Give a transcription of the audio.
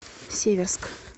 северск